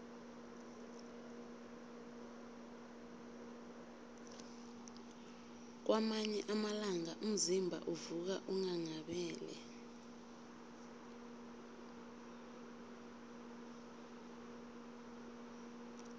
kwamanye amalanga umzimba uvuka unghanghabele